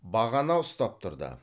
бағана ұстап тұрды